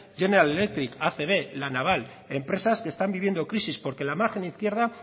general electric acb la naval empresas que están viviendo crisis porque en la margen izquierda